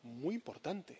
muy importante.